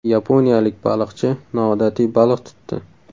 Yaponiyalik baliqchi noodatiy baliq tutdi.